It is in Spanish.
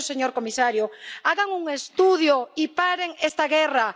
Por eso, señor comisario, hagan un estudio y paren esta guerra.